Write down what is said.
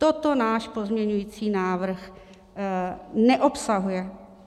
Toto náš pozměňovací návrh neobsahuje.